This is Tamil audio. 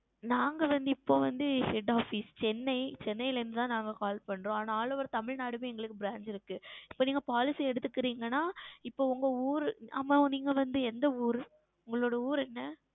நாங்கள் வந்து இப்பொழுது வந்து Head OfficeChennaiChennai ல இருந்து தான் Call செய்கிறோம் All OverTamilnadu லையும் எங்களுக்கு Branch இருக்கு இப்பொழுது Policy நீங்கள் எடுத்து கொல்லுகிறீர்கள் என்றால் உங்கள் ஊர் ஆமாம் நீங்கள் வந்து எந்த ஊர் உங்கள் ஊர் என்ன